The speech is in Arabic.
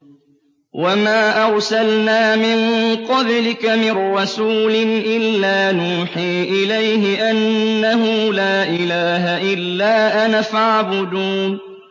وَمَا أَرْسَلْنَا مِن قَبْلِكَ مِن رَّسُولٍ إِلَّا نُوحِي إِلَيْهِ أَنَّهُ لَا إِلَٰهَ إِلَّا أَنَا فَاعْبُدُونِ